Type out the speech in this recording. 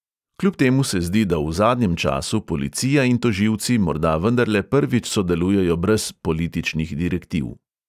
Kljub temu se zdi, da v zadnjem času policija in tožilci morda vendarle prvič sodelujejo brez političnih direktiv.